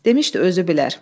Demişdi özü bilər.